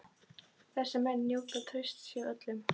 Þessir menn njóta trausts hjá öllum.